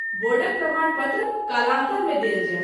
बोर्डक प्रमाण पत्र कालांतर मे देल जायत।